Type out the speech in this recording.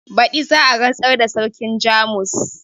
Badi za a rantsar da sarkin jamus